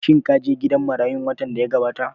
Shin ka je gidan marayu watan da ya gabata?